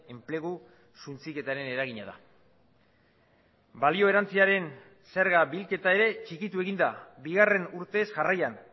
enplegu suntsiketaren eragina da balio erantsiaren zerga bilketa ere txikitu egin da bigarren urtez jarraian